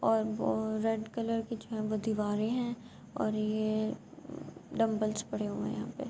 اور وو red colour کی جو ہے دوارے ہے اور یہ دمبلیس پڑے ہوئے ہے یہا پی--